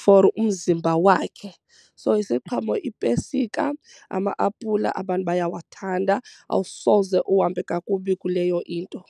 for umzimba wakhe. So isiqhamo iipesika, ama-apula abantu bayawathanda awusoze uhambe kakubi kuleyo into.